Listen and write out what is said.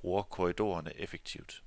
bruger korridorerne effektivt.